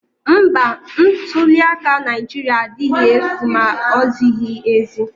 Mba, ntuliaka Naijiria adịghị efu ma ozighi ezi